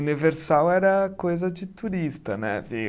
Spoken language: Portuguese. Universal era coisa de turista, né? Ver